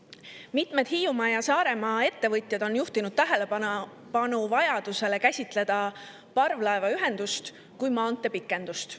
Mitmed Hiiumaa ja Saaremaa ettevõtjad on juhtinud tähelepanu vajadusele käsitleda parvlaevaühendust kui maantee pikendust.